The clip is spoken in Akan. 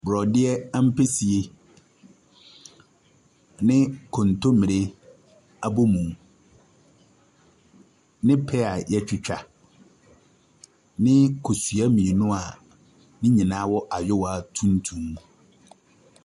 Borɔdeɛ ampesie ne kontommire abomu, ne pear a wɔatwitwa, ne kosua mmienu a ne nyinaa wɔ ayewa tuntum mu.